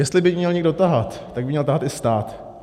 Jestli by měl někdo tahat, tak by měl tahat i stát.